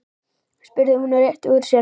spurði hún og rétti úr sér.